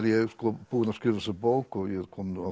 ég búinn að skrifa þessa bók og ég er kominn á